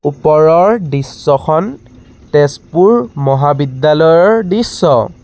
ওপৰৰ দৃশ্যখন তেজপুৰ মহাবিদ্যালয়ৰ দৃশ্য।